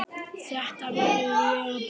Þetta verð ég að prófa